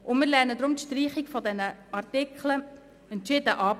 Darum lehnen wir die Streichung der Artikel entschieden ab.